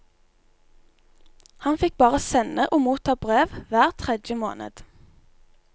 Han fikk bare sende og motta brev hver tredje måned.